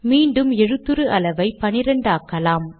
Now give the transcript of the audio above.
மீண்டும் எழுத்துரு அளவை 12 ஆக்கலாம்